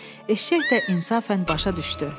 Eşşək də insafən başa düşdü.